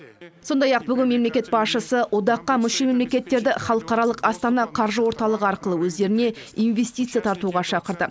сондай ақ бүгін мемлекет басшысы одаққа мүше мемлекеттерді халықаралық астана қаржы орталығы арқылы өздеріне инвестиция тартуға шақырды